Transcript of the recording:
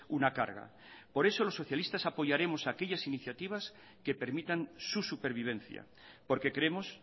una carga por eso los socialistas apoyaremos aquellas iniciativas que permitan su supervivencia porque creemos